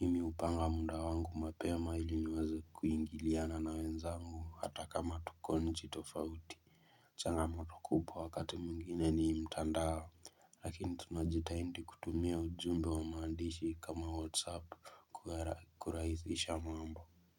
Mimi hupanga mda wangu mapema ili niweza kuingiliana na wenzangu hata kama tuko nchi tofauti changamoto kubwa wakati mwingine ni mtandao lakini tunajitahidi kutumia ujumbe wa maandishi kama whatsapp kurahisisha mambo.